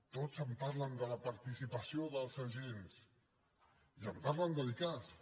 tots em parlen de la participació dels agents i em parlen de l’icass